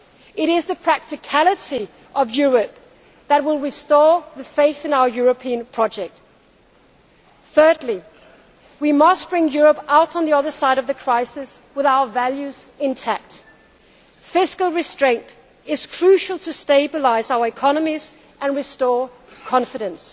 world. It is the practicality of Europe that will restore faith in our European project. Thirdly, we must bring Europe through to the other side of the crisis with our values intact. Fiscal restraint is crucial to stabilise our economies and restore